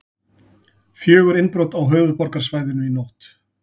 Fjögur innbrot á höfuðborgarsvæðinu í nótt